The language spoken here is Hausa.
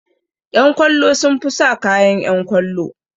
Ƴan kwallo sun fi sa kayan ƴan kwallo